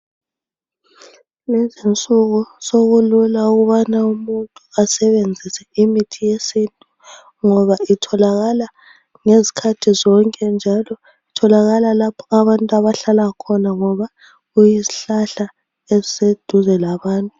Kulezinsuku sekulula ukubana umuntu asebenzise imithi yesintu ngoba itholakala ngezikhathi zonke njalo itholakala lapho abantu abahlala khona ngoba kulezihlahla eziseduze labantu.